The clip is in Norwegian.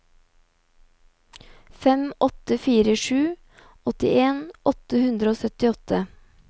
fem åtte fire sju åttien åtte hundre og syttiåtte